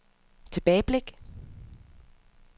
tilbageblik